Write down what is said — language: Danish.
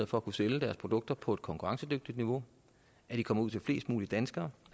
for at kunne sælge deres produkter på et konkurrencedygtigt niveau at de kommer ud til flest mulige danskere